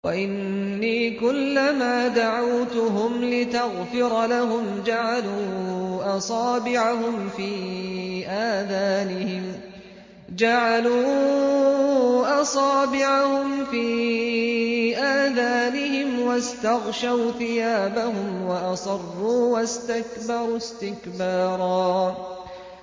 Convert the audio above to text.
وَإِنِّي كُلَّمَا دَعَوْتُهُمْ لِتَغْفِرَ لَهُمْ جَعَلُوا أَصَابِعَهُمْ فِي آذَانِهِمْ وَاسْتَغْشَوْا ثِيَابَهُمْ وَأَصَرُّوا وَاسْتَكْبَرُوا اسْتِكْبَارًا